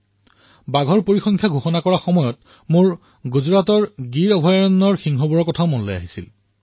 যেতিয়া মই বাঘৰ তথ্য মুকলি কৰিছিলো তেতিয়া গুজৰাটৰ গীৰৰ সিংহৰ কথাও মনলৈ আহিছিল